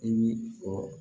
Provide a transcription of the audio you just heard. I bi fɔ